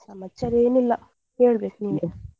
ಸಮಾಚಾರ ಏನು ಇಲ್ಲ, ಹೇಳ್ಬೇಕು ನೀವೇ?